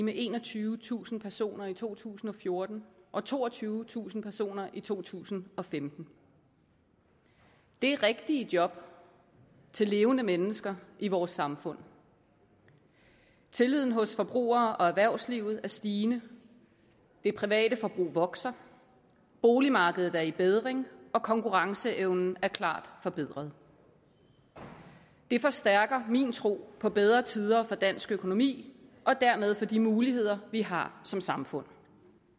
med enogtyvetusind personer i to tusind og fjorten og toogtyvetusind personer i to tusind og femten det er rigtige job til levende mennesker i vores samfund tilliden hos forbrugerne og erhvervslivet er stigende det private forbrug vokser boligmarkedet er i bedring og konkurrenceevnen er klart forbedret det forstærker min tro på bedre tider for dansk økonomi og dermed for de muligheder vi har som samfund